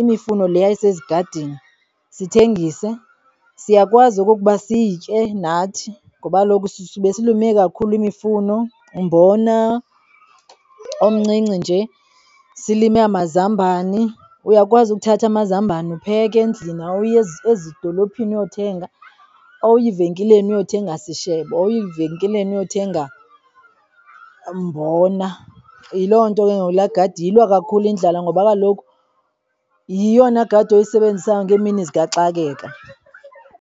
imifuno leya isezigadini, sithengise. Siyakwazi okukuba sitye nathi ngoba kaloku sube silime kakhulu imifuno, umbona omncinci, nje silime amazambani. Uyakwazi ukuthatha amazambani upheka endlini, awuyi ezidolophini uyothenga, awuyi venkileni uyothenga sishebo awuyi venkileni uyothenga mbona. Yiloo nto ke ngoku laa gadi iyilwa kakhulu indlala ngoba kaloku yeyona gadi oyisebenzisayo ngemini zikaxakeka.